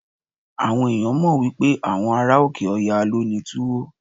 Àwọn ẹ̀yàn mọ̀ wípé àwọn ará òkè Ọya ló ní Túwó.